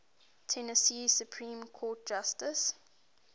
tennessee supreme court justices